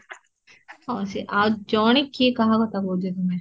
ଆଉ ସେ ଆଉ ଜଣେ କିଏ କାହା କଥା କହୁଚ ତମେ?